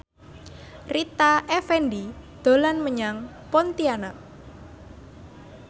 Rita Effendy dolan menyang Pontianak